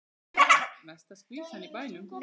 Mesta skvísan í bænum.